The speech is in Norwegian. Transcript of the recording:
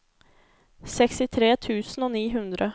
sekstitre tusen og ni hundre